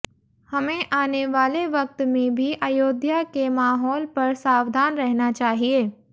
हमें आने वाले वक्त में भी अयोध्या के माहौल पर सावधान रहना चाहिए